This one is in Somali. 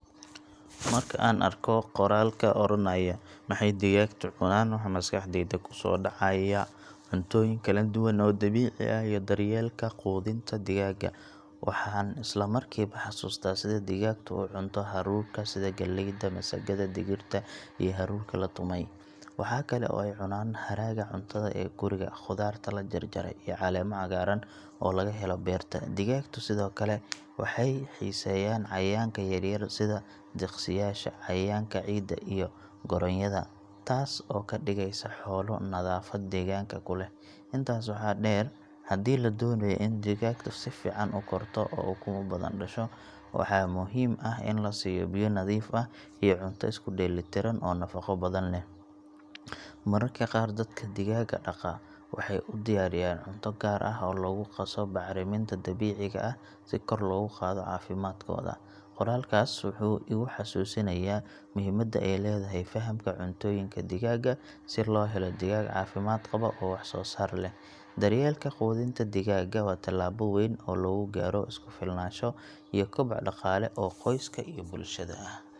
Marka aan arko qoraalka oranaya maxay digaagtu cunaan, waxa maskaxdayda kusoo dhacaya cuntooyin kala duwan oo dabiici ah iyo daryeelka quudinta digaagga. Waxaan isla markiiba xasuustaa sida digaagtu u cunto hadhuudhka sida galleyda, masagada, digirta iyo haruurka la tumay. Waxaa kale oo ay cunaan haraaga cuntada ee guriga, khudaarta la jarjaray, iyo caleemo cagaaran oo laga helo beerta. Digaagtu sidoo kale waxay xiiseeyaan cayayaanka yaryar sida diqsiyaasha, cayayaanka ciidda iyo gooryaanada, taasoo ka dhigaysa xoolo nadaafad deegaanka ku leh. Intaas waxaa dheer, haddii la doonayo in digaagtu si fiican u korto oo ukumo badan dhasho, waxaa muhiim ah in la siiyo biyo nadiif ah iyo cunto isku dheelli tiran oo nafaqo badan leh. Mararka qaar dadka digaagga dhaqaa waxay u diyaariyaan cunto gaar ah oo lagu qaso bacriminta dabiiciga ah si kor loogu qaado caafimaadkooda. Qoraalkaas wuxuu igu xasuusinayaa muhiimadda ay leedahay fahamka cuntooyinka digaagga si loo helo digaag caafimaad qaba oo wax soo saar leh. Daryeelka quudinta digaagga waa tallaabo weyn oo lagu gaaro is ku filnaansho iyo koboc dhaqaale oo qoyska iyo bulshada ah.